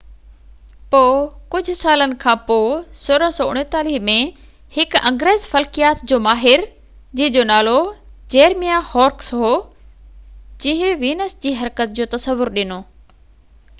پوءِ ڪجهہ سالن کانپوءِ 1639 ۾ هڪ انگريز فلڪيات جو ماهر جنهن جو نالو جيرميا هورڪس هو جنهن وينس جي حرڪت جو تصور ڏنو